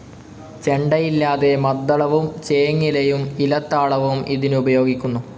ചെണ്ടയില്ലാതെ മദ്ദളവും ചേങ്ങിലയും ഇലത്താളവും ഇതിനുപയോഗിക്കുന്നു.